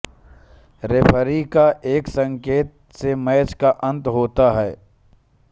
referee का एक संकेत से मैच का अंत होता है